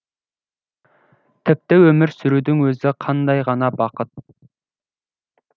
тіпті өмір сүрудің өзі қандай ғана бақыт